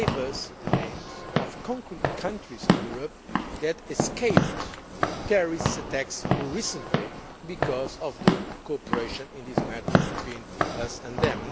He gave us the names of concrete countries in Europe that escaped terrorist attacks recently because of the cooperation in this matter between us and them.